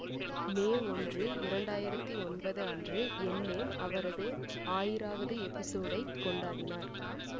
மே ஒன்று இரண்டாயிரத்தி ஒன்பதன்று எல்லேன் அவரது ஆயிராவது எபிசோடைக் கொண்டாடினார்